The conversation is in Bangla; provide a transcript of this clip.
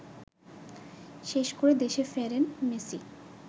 শেষ করে দেশে ফেরেন মেসি